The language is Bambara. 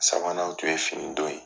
Sabanan o tun ye fini don ye.